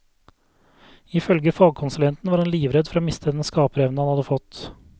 Ifølge fagkonsulenten var han livredd for å miste den skaperevnen han hadde fått.